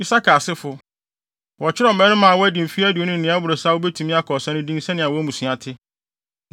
Isakar asefo: Wɔkyerɛw mmarima a wɔadi mfe aduonu ne nea ɛboro saa a wobetumi akɔ ɔsa no din sɛnea wɔn mmusua te.